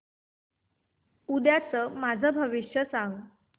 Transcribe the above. उद्याचं माझं भविष्य सांग